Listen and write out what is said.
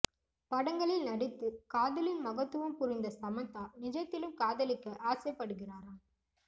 படங்களில் நடித்து காதலின் மகத்துவம் புரிந்த சமந்தா நிஜத்திலும் காதலிக்க ஆசைப்படுகிறாராம்